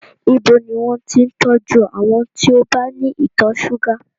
Ibo ni wọn ti ń tọ́jú àwọn tí ó bá ní ìtọ̀ ṣúgà?